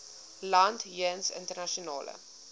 land jeens internasionale